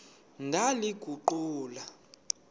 ndaliguqula